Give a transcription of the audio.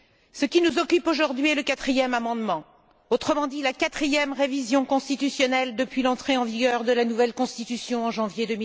Ce qui nous occupe aujourd'hui est le quatrième amendement, autrement dit la quatrième révision constitutionnelle depuis l'entrée en vigueur de la nouvelle Constitution, en janvier